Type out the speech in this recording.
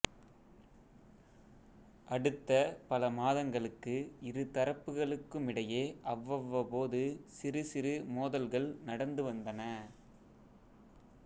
அடுத்த பல மாதங்களுக்கு இரு தரப்புகளுக்குமிடையே அவ்வப்போது சிறு சிறு மோதல்கள் நடந்து வந்தன